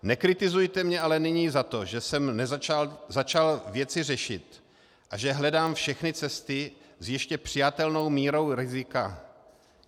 Nekritizujte mě ale nyní za to, že jsem začal věci řešit a že hledám všechny cesty s ještě přijatelnou mírou rizika.